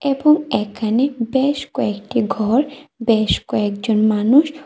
এবং এখানে বেশ কয়েকটি ঘর বেশ কয়েকজন মানুষ--